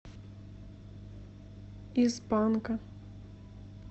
из панка